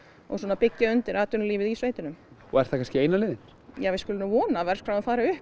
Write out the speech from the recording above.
byggja undir atvinnulífið í sveitunum er það kannski eina leiðin við skulum vona að verðskráin fari upp